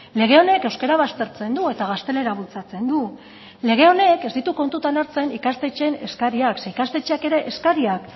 lege honek euskara baztertzen du eta gaztelera bultzatzen du lege honek ez ditu kontutan hartzen ikastetxeen eskariak zeren ikastetxeek ere eskariak